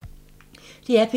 DR P2